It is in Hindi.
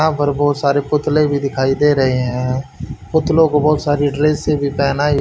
यहां पर बहोत सारे पुतले भी दिखाई दे रहे हैं पुतलों को बहोत सारी ड्रेसे भी पहनाई--